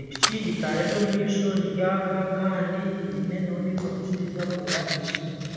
Epiki etara eryomumaisho niryaka Kandi hiine n'ondijo mushaija owu ahekire enyima.